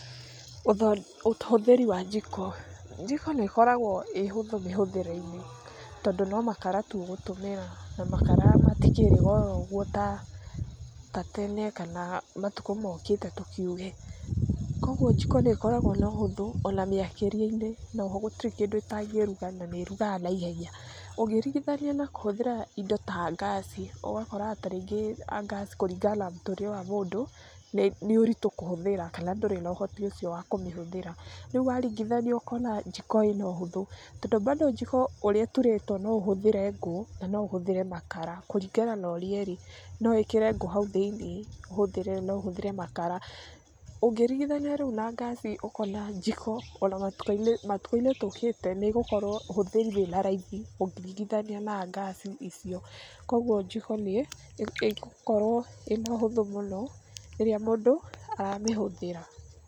Ũhũthĩri wa njiko, njiko nĩ ĩkoragwo ĩ hũthũ mĩhũthĩre-ine tondũ no makara tu ũgũtũmĩra na makara matikĩrĩ goro ũguo ta tene kana matukũ mokĩte tũkiuge, koguo njiko nĩ ĩkoragwo na ũhũthũ ona mĩakĩrie-inĩ noho gũtirĩ kĩndũ itangĩruga na nĩ ĩrugaga na ihenya. Ũngĩringithania na kũhũthĩra indo ta ngaci ũgakoraga ta rĩngĩ ngaci kũringana na mũtũrĩre wa mũndũ, nĩ ũritũ kũhũthĩra, kana ndũrĩ na ũhoti ũcio wa kũmĩhũthĩra, rĩu waringithania ũkona jiko ĩna ũhũthũ tondũ bado jiko ũrĩa ĩturĩtwo no ũhũthĩre ngũ na no ũhũthĩre makara kuringana na ũrĩa ĩrĩ, no wĩkĩre ngũ hau thĩ-inĩ ũhũthĩre na no ũhũthĩre makara. Ũngĩringithania rĩu na ngaci ũkona jiko ona matukũ-inĩ tũkĩte, nĩ ĩgũkorwo ũhũthĩri wĩna raithi ũkĩringithania na ngaci icio, koguo jiko nĩ ĩgũkorwo ĩna ũhũthũ mũno rĩrĩa mũndũ aramĩhũthĩra